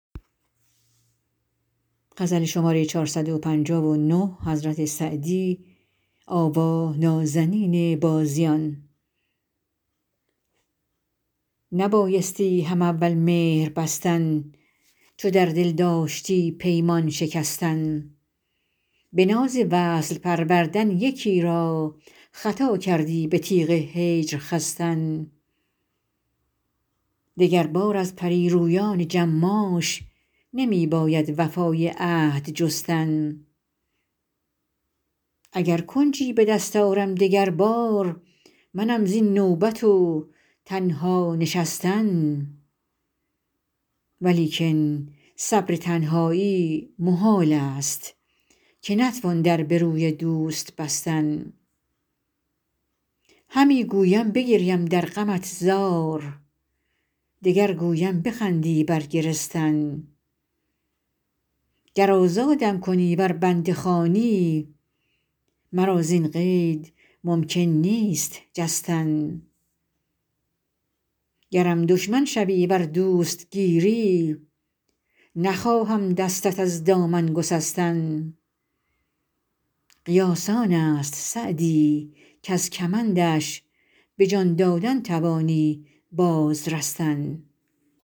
نبایستی هم اول مهر بستن چو در دل داشتی پیمان شکستن به ناز وصل پروردن یکی را خطا کردی به تیغ هجر خستن دگربار از پری رویان جماش نمی باید وفای عهد جستن اگر کنجی به دست آرم دگر بار منم زین نوبت و تنها نشستن ولیکن صبر تنهایی محال است که نتوان در به روی دوست بستن همی گویم بگریم در غمت زار دگر گویم بخندی بر گرستن گر آزادم کنی ور بنده خوانی مرا زین قید ممکن نیست جستن گرم دشمن شوی ور دوست گیری نخواهم دستت از دامن گسستن قیاس آن است سعدی کز کمندش به جان دادن توانی باز رستن